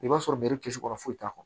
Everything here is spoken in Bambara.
I b'a sɔrɔ kisɛ kɔrɔ foyi t'a kɔnɔ